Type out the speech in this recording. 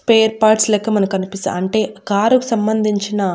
spare parts లెక్క మనకనిపిస్త అంటె కారు కి సంబంధించిన--